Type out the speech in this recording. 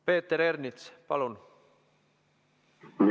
Peeter Ernits, palun!